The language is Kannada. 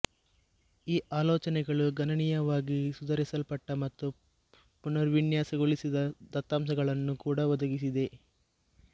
ಈ ಆಲೋಚನೆಗಳು ಗಣನೀಯವಾಗಿ ಸುಧಾರಿಸಲ್ಪಟ್ಟ ಮತ್ತು ಪುನರ್ವಿನ್ಯಾಸಗೊಳಿಸಿದ ದತ್ತಾಂಶಗಳನ್ನು ಕೂಡ ಒದಗಿಸಿದೆ